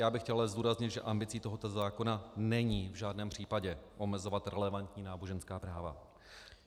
Já bych chtěl ale zdůraznit, že ambicí tohoto zákona není v žádném případě omezovat relevantní náboženská práva.